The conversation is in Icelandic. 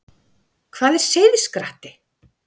Hvað er seiðskratti?